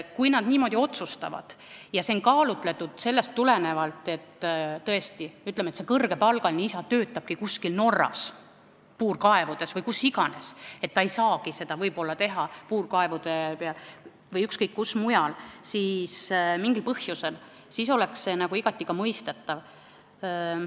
Kui nad niimoodi otsustavad ja see on kaalutletud, sest tõesti, see kõrgepalgaline isa töötab kuskil Norra puurkaevude peal või kus iganes, ta ei saagi seda võib-olla mingil põhjusel teha, siis oleks see igati mõistetav.